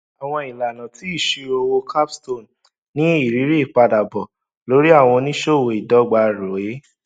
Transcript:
àwọn ìlànà ti ìṣirò owó capstone ní ìrírí ìpadàbọ lórí àwọn oníṣòwò ìdọgba roe